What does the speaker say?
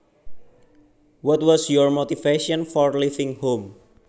What was your motivation for leaving home